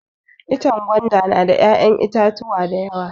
Ichen gwandan na da ya'yan itatuwa dayawa.